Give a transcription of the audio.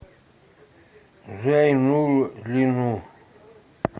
зайнуллину